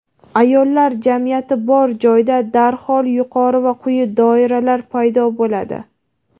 Ayollar jamiyati bor joyda darhol yuqori va quyi doiralar paydo bo‘ladi.